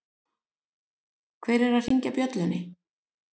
Hver er að hringja bjöllunni?